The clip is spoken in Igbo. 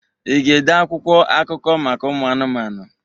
Ị ga-ede akwụkwọ akụkọ maka ụmụ anụmanụ?